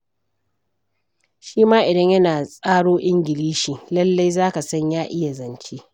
Shi ma idan yana tsaro Ingilishi, lallai za ka san ya iya zance.